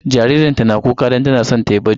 Jaririnta na kuka don tana son ta yi bacci.